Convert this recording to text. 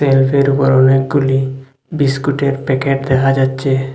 শেলফের ওপর অনেকগুলি বিস্কুটের প্যাকেট দেখা যাচ্ছে।